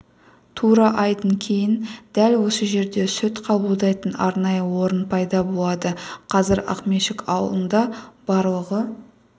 тура айдан кейін дәл осы жерде сүт қабылдайтын арнайы орын пайда болады қазір ақмешіт ауылында барлығы